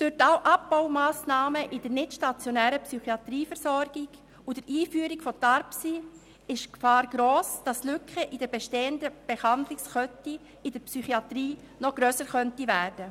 Durch die Abbaumassnahmen in der nichtstationären Psychiatrieversorgung und die Einführung von TARPSY ist die Gefahr gross, dass die Lücken in der bestehenden Behandlungskette in der Psychiatrie noch grösser werden könnten.